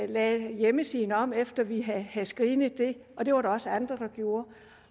lavede hjemmesiden om efter at vi havde screenet den og det var der også andre der gjorde